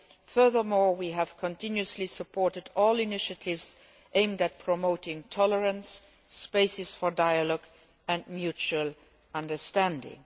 Furthermore we have continuously supported all initiatives aimed at promoting tolerance, spaces for dialogue and mutual understanding.